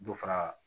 Dɔ fara